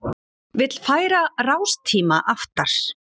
Vill færa rástíma aftar